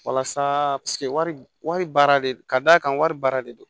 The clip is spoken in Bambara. Walasa wari baara de ka d'a kan wari baara de don